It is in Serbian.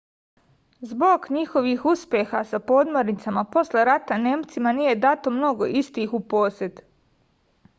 zbog njihovog uspeha sa podmornicama posle rata nemcima nije dato mnogo istih u posed